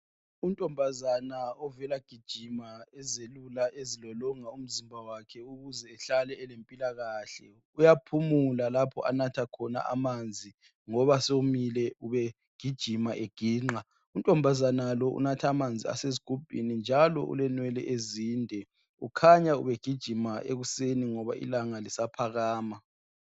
Untombazane ovela kuyagijima uyazelula elolonga umzimba wakhe ukuze behlale elempilakahle uyaphumula lapho anatha khona amanzi ngoba somile ubegijima eginqa untombazane lo unatha amanzi asesigubhini njalo ulenwele ezinde ukhanya ubegijima ekuseni ngoba ilanga lisaphakama